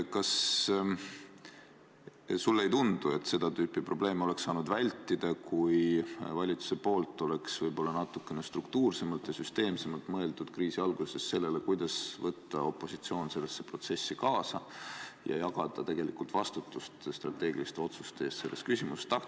Kas sulle ei tundu, et seda tüüpi probleeme oleks saanud vältida, kui valitsuses oleks võib-olla natukene struktuursemalt ja süsteemsemalt mõeldud kriisi alguses sellele, kuidas võtta opositsioon sellesse protsessi kaasa ja jagada vastutust strateegiliste otsuste eest selles küsimuses?